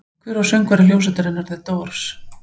Hver var söngvari hljómsveitarinnar The Doors?